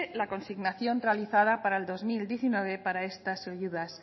la consignación realizada para el dos mil diecinueve para estas ayudas